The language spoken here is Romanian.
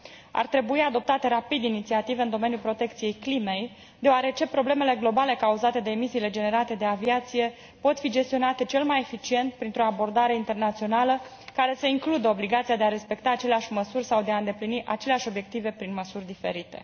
Ar trebui adoptate rapid inițiative în domeniul protecției climei, deoarece problemele globale cauzate de emisiile generate de aviație pot fi gestionate cel mai eficient printr o abordare internațională, care să includă obligația de a respecta aceleași măsuri sau de a îndeplini aceleași obiective prin măsuri diferite.